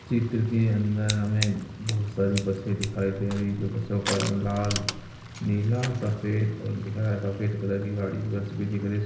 चित्र के अंदर हमें बहुत सारी बसे दिखाई दे रही है। दो बसों का रंग लाल नीला सफेद और दिख रहा है सफेद कलर की गाडी बस भी दिख रही है। उस--